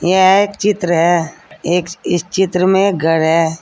यह एक चित्र है एक इस चित्र में घर है।